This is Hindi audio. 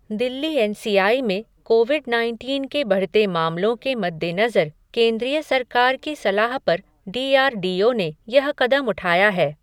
दिल्ली एन सी आई में कोविड नाइनटीन के बढ़ते मामलों के मद्देनजर केंद्रीय सरकार की सलाह पर डी आर डी ओ ने यह कदम उठाया है।